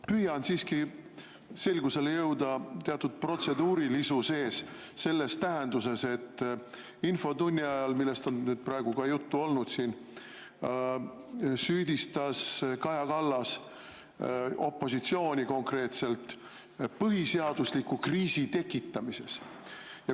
Ma püüan siiski selgusele jõuda teatud protseduurilisuses selles tähenduses, et infotunni ajal, millest on ka juttu olnud, süüdistas Kaja Kallas opositsiooni konkreetselt põhiseadusliku kriisi tekitamises.